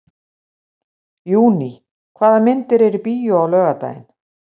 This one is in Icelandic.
Júní, hvaða myndir eru í bíó á laugardaginn?